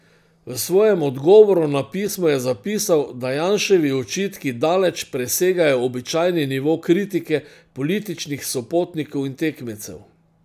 V svojem odgovoru na pismo je zapisal, da Janševi očitki daleč presegajo običajni nivo kritike političnih sopotnikov in tekmecev.